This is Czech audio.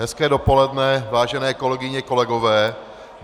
Hezké dopoledne, vážené kolegyně, kolegové.